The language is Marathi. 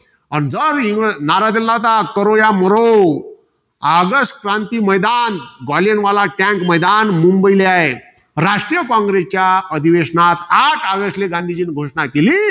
आणि जर इंग्रजांना, नारा दिला होता. ऑगस्ट क्रांती मैदान. ग्वाल्हेरवाला tank मुंबई राष्ट्रीय कॉंग्रेसच्या अधिवेशनात आठ ऑगस्टले गांधीजींनी घोषणा केली.